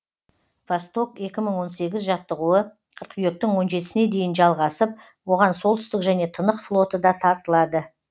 восток екі мың он сегіз жаттығуы қыркүйектің он жетісіне дейін жалғасып оған солтүстік және тынық флоты да тартылады